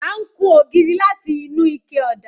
À ń kun ògiri láti inú ike ọ̀dà